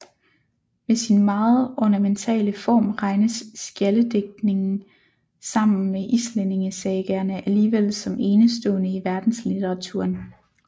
Med sin meget ornamentale form regnes skjaldedigtningen sammen med islændingesagaerne alligevel som enestående i verdenslitteraturen